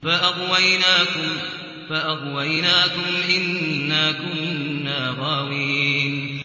فَأَغْوَيْنَاكُمْ إِنَّا كُنَّا غَاوِينَ